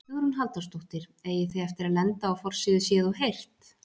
Hugrún Halldórsdóttir: Eigið þið eftir að lenda á forsíðu Séð og heyrt?